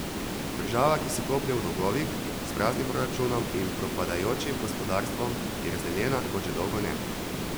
Država, ki se koplje v dolgovih, s praznim proračunom in propadajočim gospodarstvom, je razdeljena, kot že dolgo ne.